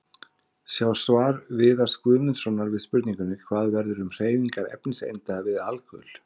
Sjá svar Viðars Guðmundssonar við spurningunni: Hvað verður um hreyfingar efniseinda við alkul?